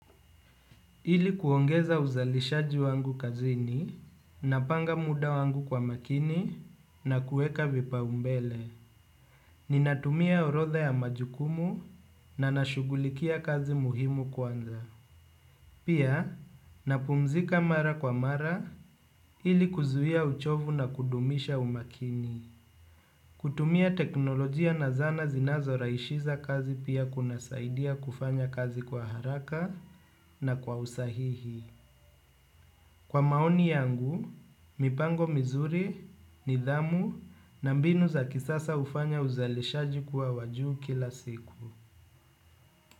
Ili kuongeza uzalishaji wangu kazini, napanga muda wangu kwa umakini na kueka vipa umbele. Ninatumia orodha ya majukumu na nashugulikia kazi muhimu kwanza. Pia, napumzika mara kwa mara ili kuzuia uchovu na kudumisha umakini. Kutumia teknolojia na zana zinazo raishiza kazi pia kuna saidia kufanya kazi kwa haraka na kwa usahihi. Kwa maoni yangu, mipango mizuri, nidhamu na mbinu za kisasa ufanya uzalishaji kuwa wa juu kila siku.